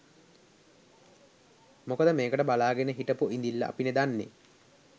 මොකද මේකට බලාගෙන හිටපු ඉඳිල්ල අපිනේ දන්නේ.